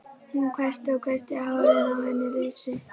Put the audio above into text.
Hún hvæsti og hvæsti og hárin á henni risu.